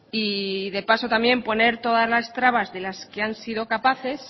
y de paso poner todas las trabas de las que han sido capaces